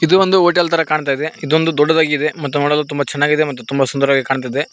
ಇದು ಒಂದು ಹೋಟೆಲ್ ತರ ಕಾಣ್ತಾ ಇದೆ ಇದೊಂದು ದೊಡ್ಡದಾಗಿ ಇದೆ ಮತ್ತು ನೋಡಲು ತುಂಬ ಚೆನ್ನಾಗಿದೆ ಮತ್ತು ತುಂಬಾ ಸುಂದರವಾಗಿ ಕಾಣ್ತಿದೆ.